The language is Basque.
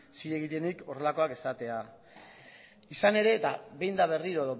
denik horrelakoak esatea izan ere eta behin eta berriro